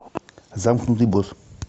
замкнутый босс